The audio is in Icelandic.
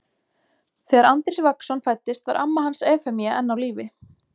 Þegar Andrés Vagnsson fæddist var amma hans Efemía enn á lífi.